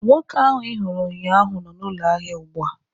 Nwoke ahụ ị hụrụ ụnyaahụ nọ n'ụlọ ahịa ugbu a